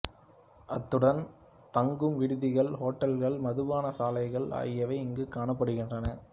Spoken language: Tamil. அத்துடன் தங்கும் விடுதிகள் ஹோட்டல்கள் மதுபான சாலைகள் ஆகியவையும் இங்கு காணப்படுகின்றன